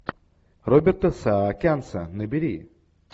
роберта саакянца набери